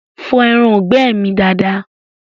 Fọ ẹraǹgbẹ́ mi dada!